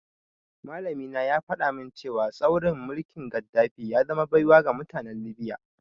Malamina ya faɗa min cewa tsaurin mulkin Gaddafi ya zama baiwa ga mutanen Libya.